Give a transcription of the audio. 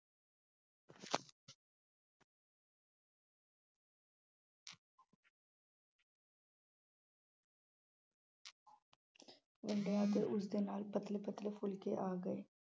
ਵੰਡਿਆ ਅਤੇ ਉਸਦੇ ਨਾਲ ਪਤਲੇ ਪਤਲੇ ਫੁਲਕੇ ਆ ਗਏ।